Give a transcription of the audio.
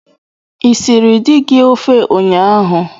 I siiri dị gị ofe ụnyaahụ?